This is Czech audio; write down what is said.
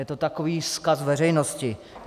Je to takový vzkaz veřejnosti.